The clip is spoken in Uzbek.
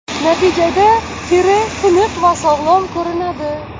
Natijada teri tiniq va sog‘lom ko‘rinadi.